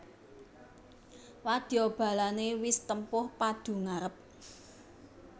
Wadya balané wis tempuh padu ngarep